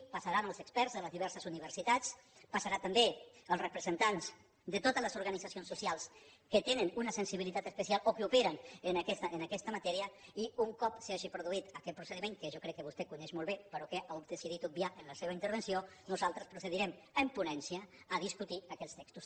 hi passaran els experts de les diverses universitats hi passaran també els representants de totes les organitzacions socials que tenen una sensibilitat especial o que operen en aquesta matèria i un cop s’hagi produït aquest procediment que jo crec que vostè coneix molt bé però que ha decidit obviar en la seva intervenció nosaltres procedirem en ponència a discutir aquells textos